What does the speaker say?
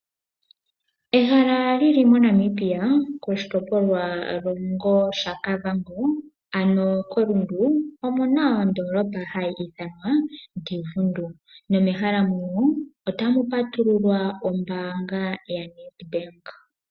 Ehala lili moNamibia koshitopolwa longo shaKavango ano koRundu, omuna ondoolopa hayi ithanwa Divundu nomehala muno otamu patululwa ombaanga ya NedBank.